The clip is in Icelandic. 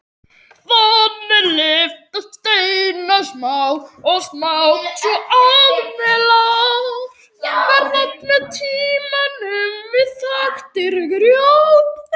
Þannig lyftast steinar smátt og smátt svo að melar verða með tímanum þaktir grjóti.